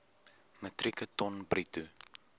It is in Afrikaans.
metrieke ton bruto